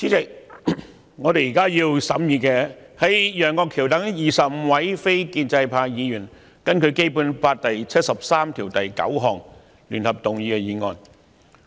主席，我們現正審議的是由楊岳橋議員等25位非建制派議員根據《基本法》第七十三條第九項聯合動議的議案。